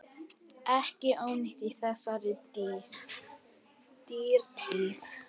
Ekki ónýtt í þessari dýrtíð.